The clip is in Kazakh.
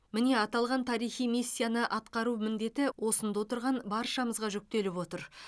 міне аталған тарихи миссияны атқару міндеті осында отырған баршамызға жүктеліп отыр